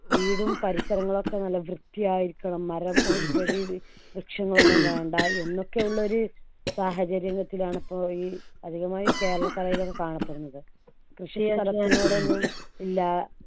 വീടും പരിസരങ്ങളൊക്കെ നല്ല വൃത്തിയായിരിക്കണം മരം ഉം ചെടിയുടെ വൃക്ഷങ്ങൾ ഒന്നും വേണ്ട എന്നൊക്കെയുള്ള ഒരു സാഹചര്യത്തിലാണ് പ്പോ ഈ അധികമായി കേരളക്കരയിൽ ഒക്കെ കാണപ്പെടുന്നത് കൃഷി ചെയ്യാൻ ഇല്ല